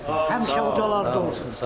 Həmişə odlarda olsun.